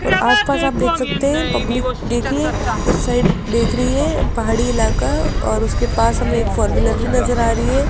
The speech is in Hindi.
और आसपास आप देख सकते हैं पब्लिक देखिए उस साइड देख रही है पहाड़ी इलाका है और उसके पास हमें एक फोर व्हीलर भी नजर आ रही है।